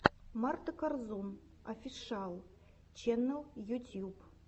марта корзун офишиал ченнал ютьюб